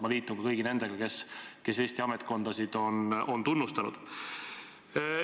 Ma liitun kõigi nendega, kes Eesti ametkondasid on tunnustanud.